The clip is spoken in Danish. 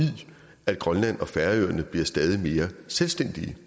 at grønland og færøerne bliver stadig mere selvstændige